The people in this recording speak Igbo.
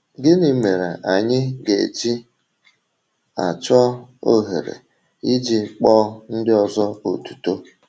Gịnị mere anyị ga-eji achọ ohere iji kpọọ ndị ọzọ otuto?